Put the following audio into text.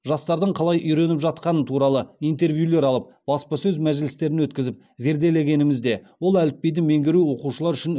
жастардың қалай үйреніп жатқаны туралы интервьюлер алып баспасөз мәжілістерін өткізіп зерделегенімізде ол әліпбиді меңгеру оқушылар үшін үлкен қиыншылық туындатып отырғаны белгілі болды